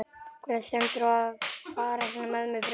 Hvernig stendur á þér að fara svona með mig, Friðrik?